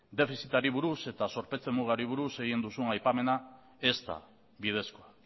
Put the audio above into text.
defizitari buruz eta zorpetze mugari buruz egin duzun aipamena ez da bidezkoa